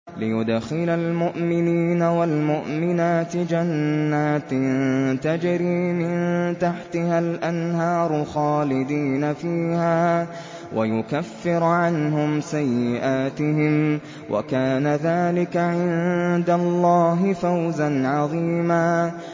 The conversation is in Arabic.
لِّيُدْخِلَ الْمُؤْمِنِينَ وَالْمُؤْمِنَاتِ جَنَّاتٍ تَجْرِي مِن تَحْتِهَا الْأَنْهَارُ خَالِدِينَ فِيهَا وَيُكَفِّرَ عَنْهُمْ سَيِّئَاتِهِمْ ۚ وَكَانَ ذَٰلِكَ عِندَ اللَّهِ فَوْزًا عَظِيمًا